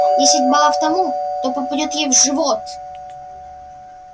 десять баллов тому кто попадёт ей в живот